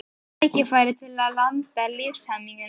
Rakið tækifæri til að landa lífshamingjunni.